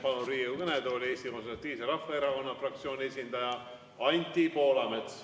Palun Riigikogu kõnetooli Eesti Konservatiivse Rahvaerakonna fraktsiooni esindaja Anti Poolametsa.